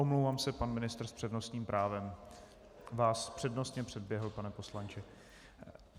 Omlouvám se - pan ministr s přednostním právem vás přednostně předběhl, pane poslanče.